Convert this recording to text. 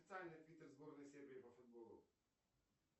официальный твиттер сборной сербии по футболу